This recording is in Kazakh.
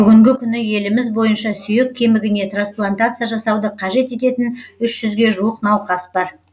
бүгінгі күні еліміз бойынша сүйек кемігіне трансплантация жасауды қажет ететін үш жүзге жуық науқас бар